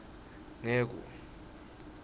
ngeku